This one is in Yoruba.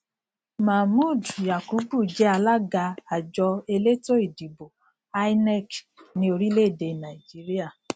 mohmood yakubu je alága àjọ elétò ìdìbò inec ní orílẹ èdè nàìjíríà